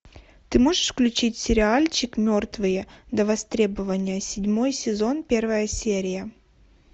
ты можешь включить сериальчик мертвые до востребования седьмой сезон первая серия